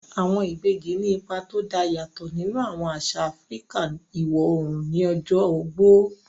Àwọn ìbejì ní ipa tó dá yàtọ̀ nínú àwọn àṣà Áfíríkà iwọ̀ oòrùn ní ọjọ́ ogbó